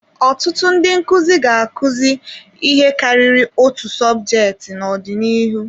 Ọtụtụ ndị nkụzi ga-akụzi ihe karịrị otu sọbjeti n'ọdịnihu.